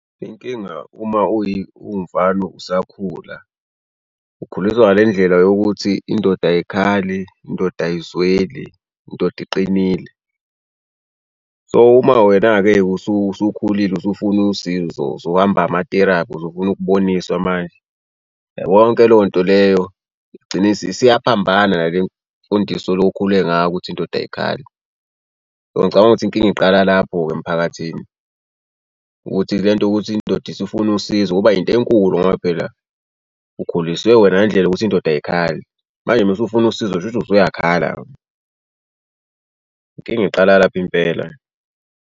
Inkinga uma uwumfana usakhula ukhuliswa ngale ndlela yokuthi indoda ayikhali, indoda ayizweli indoda iqinile. So uma wena-ke usukhulile usufuna usizo, usuhamba amateraphi usufuna ukuboniswa manje. Uyabo yonke leyo nto leyo igcine isiyaphambana nale mfundiso olokhule ngayo ukuthi indoda ayikhali. Ngicabanga ukuthi inkinga iqala lapho-ke emphakathini ukuthi le nto ukuthi indoda isifuna usizo kuba yinto enkulu ngoba phela ukhuliswe wena ngendlela yokuthi indoda ayikhali manje mese ufuna usizo shuthi usuyakhala. Inkinga iqala lapho impela.